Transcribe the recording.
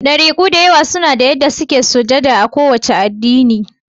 Ɗariku da yawa suna da yanda suke sujada a ko wace addini